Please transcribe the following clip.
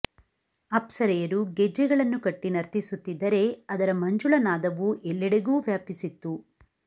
ಅಪ್ಸರೆಯರು ಗೆಜ್ಜೆಗಳನ್ನು ಕಟ್ಟಿ ನರ್ತಿಸುತ್ತಿದ್ದರೆ ಅದರ ಮಂಜುಳ ನಾದವು ಎಲ್ಲೆಡೆಗೂ ವ್ಯಾಪಿಸಿತ್ತು